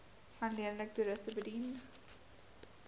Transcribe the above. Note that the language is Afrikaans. alleenlik toeriste bedien